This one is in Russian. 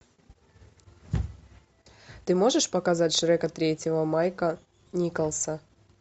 ты можешь показать шрека третьего майка николса